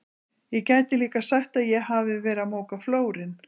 Ég gæti líka sagt að ég hafi verið að moka flórinn.